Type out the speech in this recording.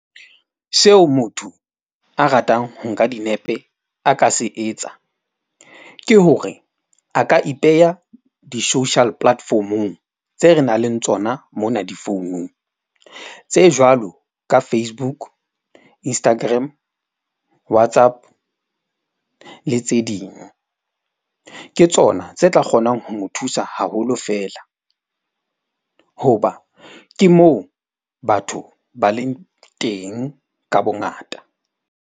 Seo motho a ratang ho nka dinepe a ka se etsa ke hore, a ka ipeha di-social platform-ong tse re nang le tsona mona difounung. Tse jwalo ka Facebook, Instagram, WhatsApp le tse ding. Ke tsona tse tla kgonang ho mo thusa haholo fela hoba ke moo batho ba leng teng ka bongata.